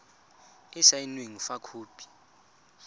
e e saenweng fa khopi